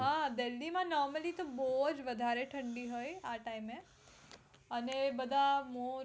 હા delhi માં normally તો બોવ જ વધારે ઠંડી હોય આ time એ અને એ બધા મોટા